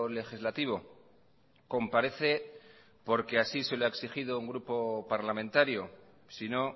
legislativo comparece porque así se lo ha exigido un grupo parlamentario sino